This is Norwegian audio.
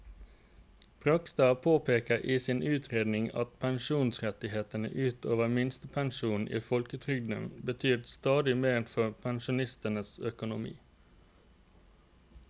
Bragstad påpeker i sin utredning at pensjonsrettighetene ut over minstepensjonen i folketrygden betyr stadig mer for pensjonistenes økonomi.